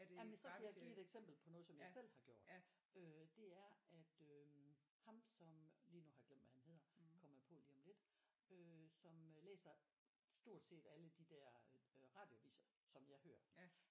Jamen så kan jeg give et eksempel på noget som jeg selv har gjort øh det er at øh ham som lige nu har jeg glemt hvad han hedder kommer jeg på lige om lidt øh som øh læser stort set alle de der øh radioaviser som jeg hører